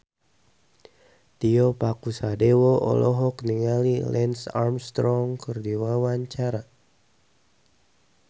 Tio Pakusadewo olohok ningali Lance Armstrong keur diwawancara